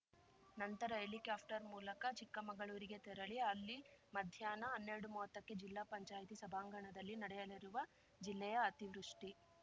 ನಂತರ ಹೆಲಿಕಾಪ್ಟರ್‌ ಮೂಲಕ ಚಿಕ್ಕಮಗಳೂರಿಗೆ ತೆರಳಿ ಅಲ್ಲಿ ಮಧ್ಯಾಹ್ನ ಹನ್ನೆರಡುಮುವತ್ತಕ್ಕೆ ಜಿಲ್ಲಾ ಪಂಚಾಯತಿ ಸಭಾಂಗಣದಲ್ಲಿ ನಡೆಯಲಿರುವ ಜಿಲ್ಲೆಯ ಅತಿವೃಷ್ಟಿ